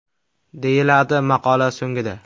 !” deyiladi maqola so‘ngida.